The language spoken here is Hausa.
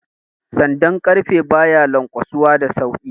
Sandan ƙarfe ba ya lanƙwasuwa da sauki